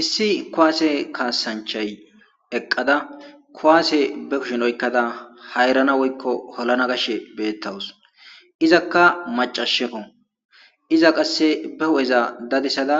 Issi kuwasse kaassanchay eqqada kuwasse be kushen oykada hayrana woykko holana gashe beetawus; izakka maccasheko iza qasse be hu'eza dadisada